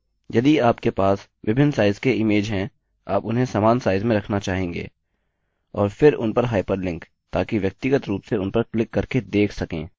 यदि आपके पास विभिन्न साइज़ के इमेज हैं आप उन्हें समान साइज़ में रखना चाहेंगे और फिर उन पर हाइपरलिंक ताकि व्यक्तिगत रूप से उन पर क्लिक करके देख सकें